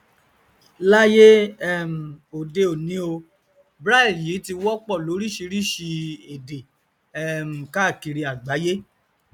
láyé um òde òni o braille yìí tí wọpọ lóríṣìíríṣìí èdè um káàkiri àgbáyé